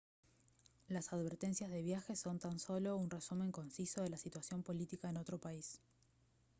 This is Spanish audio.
las advertencias de viaje son tan solo un resumen conciso de la situación política en otro país